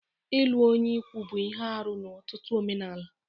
Ịlụ onye ikwu bụ ihe arụ n'ọtụtụ omenala.